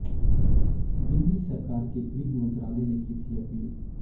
दिल्ली सरकार के गृह मंत्रालय ने की थी अपील